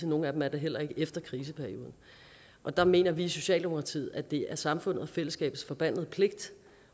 nogle af dem er det heller ikke efter kriseperioden og der mener vi i socialdemokratiet at det er samfundets og fællesskabets forbandede pligt